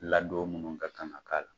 Ladon munnu ka kan ka k'a la.